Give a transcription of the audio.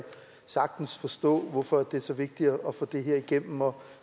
sagtens forstå hvorfor det er så vigtigt at få det her igennem og